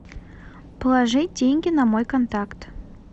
положить деньги на мой контакт